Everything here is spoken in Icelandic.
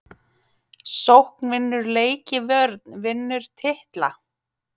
Sókn vinnur leiki vörn vinnur titla???